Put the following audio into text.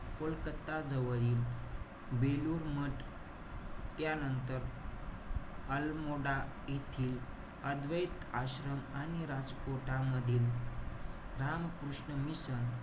कोलकत्ता जवळील बेलूर मठ त्यानंतर अलमोडा येथील अद्वैत आश्रम आणि राजकोटमधील राम कृष्ण मिशन,